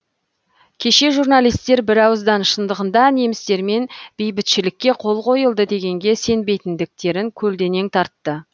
кеше журналистер бірауыздан шындығында немістермен бейбітшілікке қол қойылды дегенге сенбейтіндіктерін көлденең тартты